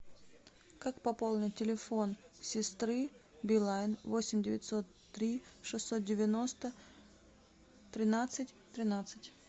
как пополнить телефон сестры билайн восемь девятьсот три шестьсот девяносто тринадцать тринадцать